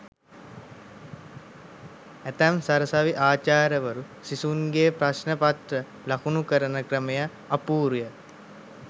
ඇතැම් සරසවි ආචාර්යවරු සිසුන් ගේ ප්‍රශ්න පත්‍ර ලකුණු කරන ක්‍රමය අපුරුය.